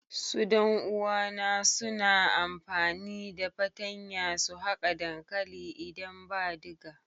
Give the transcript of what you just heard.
Su dan uwa na suna amfani da fatanya su haka dankali idan ba diga.